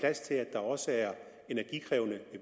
der også er energikrævende